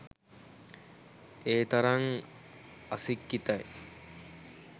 ඒතරං අසික්කිතයි